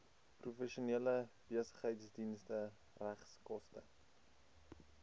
professionele besigheidsdienste regskoste